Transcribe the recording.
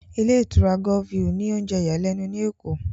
Ilé ìtura Golf view ní oúnjẹ ìyàlẹ́nu ní Èkó